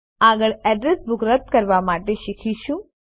આગળ address book રદ કવા માટે શીખીશું